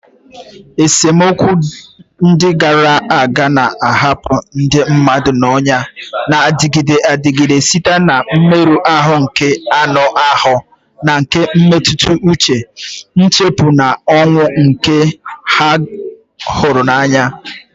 Esemokwu ndị gara aga na-ahapụ ndị mmadụ ọnyà na-adịgide adịgide site na mmerụ ahụ nke anụ ahụ na nke mmetụta uche, nchụpụ, na ọnwụ nke ndị ha hụrụ n'anya.